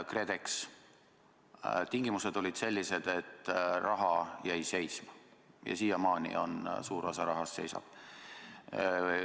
KredExi tingimused olid sellised, et raha jäi seisma ja siiamaani suur osa rahast seisab.